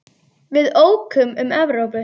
Við ókum um Evrópu.